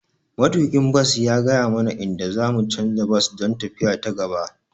Matuƙin bas ya gaya mana inda za mu canza bas don tafiya ta gaba.